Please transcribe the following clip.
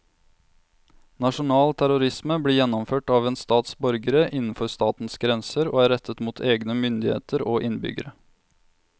Nasjonal terrorisme blir gjennomført av en stats borgere innenfor statens grenser og er rettet mot egne myndigheter og innbyggere.